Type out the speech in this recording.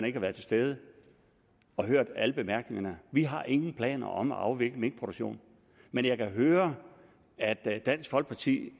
ikke at være til stede og høre alle bemærkningerne vi har ingen planer om at afvikle minkproduktionen men jeg kan høre at dansk folkeparti